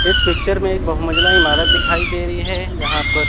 इस पिक्चर में एक बहुमंजिला इमारत दिखाई दे रही है जहां पर--